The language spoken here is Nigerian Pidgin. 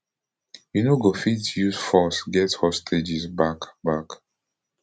you no go fit use force get hostages back back